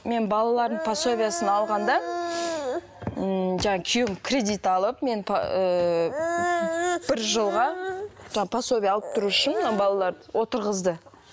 мен балаларымның пособиясын алғанда ммм жаңағы күйеуім кредит алып мен ыыы бір жылға жаңа пособия алып тұру үшін мына балаларды отырғызды